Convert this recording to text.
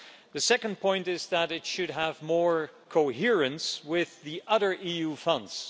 The second point is that it should have more coherence with the other EU funds.